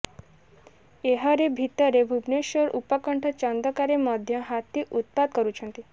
ଏହାରି ଭିତରେ ଭୁବନେଶ୍ୱର ଉପକଣ୍ଠ ଚନ୍ଦକାରେ ମଧ୍ୟ ହାତୀ ଉତ୍ପାତ କରିଛନ୍ତି